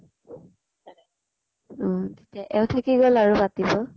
উম । এতিয়া এওঁ থাকি গʼল আৰু পাতিব